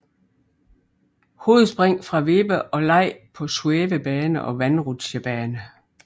Hovedspring fra vippe og leg på svævebane og vandrutsjebane